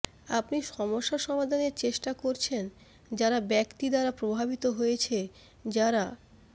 আপনি সমস্যা সমাধানের চেষ্টা করছেন যারা ব্যক্তি দ্বারা প্রভাবিত হয়েছে যারা